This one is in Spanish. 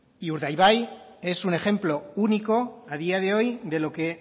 y urdaibai es un ejemplo único a día de hoy de lo que